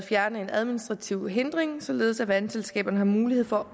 fjerne en administrativ hindring således at vandselskaberne har mulighed for